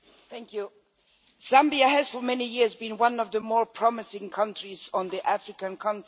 Mr President, Zambia has for many years been one of the more promising countries on the African continent.